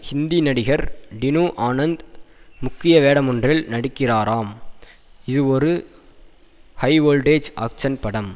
ஹிந்தி நடிகர் டினு ஆனந்த் முக்கிய வேடமொன்றில் நடிக்கிறாராம் இதுவொரு ஹைவோல்டேஜ் ஆக்ஷ்ன் படம்